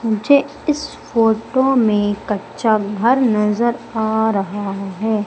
मुझे इस फोटो में कच्चा घर नजर आ रहा हैं।